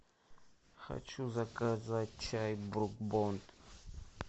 хочу заказать чай брук бонд